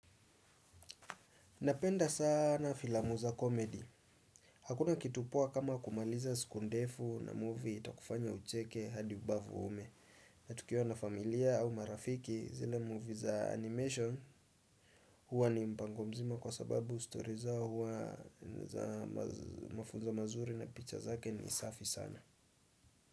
Napenda sana filamu za komedi. Hakuna kitu poa kama kumaliza siku ndefu na movie itakufanya ucheke hadi ubavu uume. Na tukiwa na familia au marafiki zila movie za animation huwa ni mpango mzima kwa sababu story zao huwa ni za mafunzo mazuri na picha zake ni safi sana.